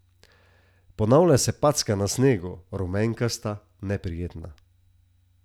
Ponavlja se packa na snegu, rumenkasta, neprijetna.